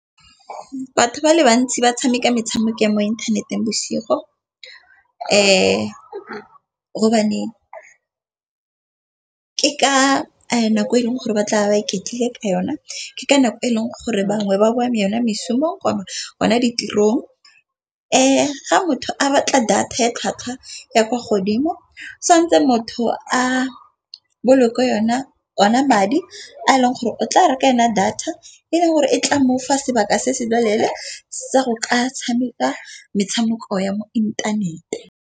Batho ba le bantsi ba tshameka metshameko ya mo inthaneteng bosigo ke ka nako e leng gore ba tla be ba iketlile ka yona. Ke ka nako e leng gore bangwe ba boa mo yone meshomong bona ditirong. Ga motho a batla data e tlhwatlhwa ya kwa godimo santse motho a bolokwe yona madi a e leng gore o tla reka yona data e leng gore e tla mofa sebaka se se loleele sa go ka tshameka metshameko ya mo inthaneteng.